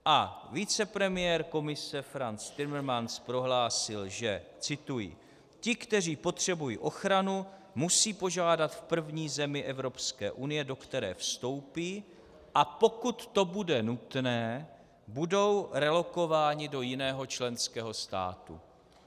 A vicepremiér Komise Frans Timmermans prohlásil, že - cituji: "Ti, kteří potřebují ochranu, musí požádat v první zemi Evropské unie, do které vstoupí, a pokud to bude nutné, budou relokováni do jiného členského státu."